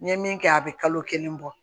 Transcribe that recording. N ye min kɛ a bɛ kalo kelen bɔ